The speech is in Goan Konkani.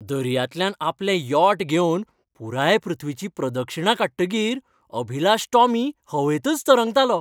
दर्यांतल्यान आपलें यॉट घेवन पुराय पृथ्वीची प्रदक्षिणा काडटकीर अभिलाष टॉमी हवेंतच तरंगतालो.